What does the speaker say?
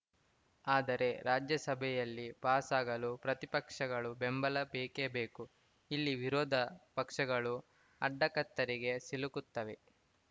ಆದರೆ ರಾಜ್ಯಸಭೆಯಲ್ಲಿ ಪಾಸಾಗಲು ಪ್ರತಿಪಕ್ಷಗಳು ಬೆಂಬಲ ಬೇಕೇ ಬೇಕು ಇಲ್ಲಿ ವಿರೋಧ ಪಕ್ಷಗಳು ಅಡಕತ್ತರಿಗೆ ಸಿಲುಕುತ್ತವೆ